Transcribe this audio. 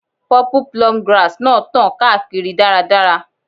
Purple plume grass náà tàn káàkiri dáradára.